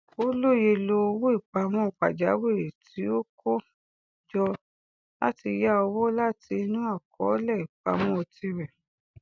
ó lóye lò owó ìpamọ pajawiri tí ó ti kó jọ láti ya owó láti inú àkọọlẹ ìpamọ tirẹ